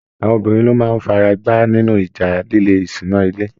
Àwọn obìnrin ló máa fi ara gbá nínú ìjà líle ìṣúná ilé.